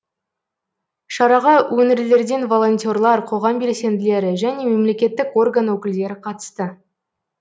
шараға өңірлерден волонтерлар қоғам белсенділері және мемлекеттік орган өкілдері қатысты